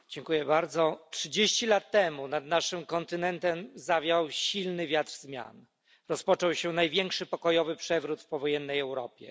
Pani Przewodnicząca! Trzydzieści lat temu nad naszym kontynentem zawiał silny wiatr zmian. Rozpoczął się największy pokojowy przewrót w powojennej Europie.